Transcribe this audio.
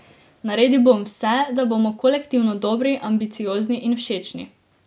Naredil bom vse, da bomo kolektivno dobri, ambiciozni in všečni.